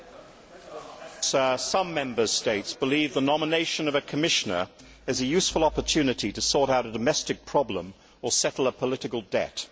Mr President, some Member States believe the nomination of a Commissioner is a useful opportunity to sort out a domestic problem or settle a political debt.